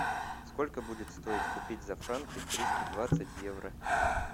сколько будет стоить купить за франки триста двадцать евро